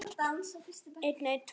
Er þetta allt og sumt?